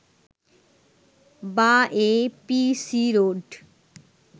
বা A P C road